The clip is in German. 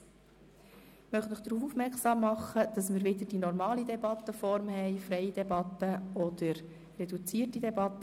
Ich möchte Sie darauf aufmerksam machen, dass wir wieder die normale Debattenform haben, das heisst freie Debatte oder reduzierte Debatte.